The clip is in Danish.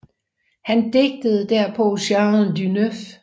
Han digtede derpå Chant du 9